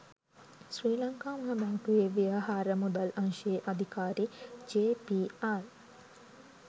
ශ්‍රී ලංකා මහ බැංකුවේ ව්‍යවහාර මුදල් අංශයේ අධිකාරි ජේ.පී.ආර්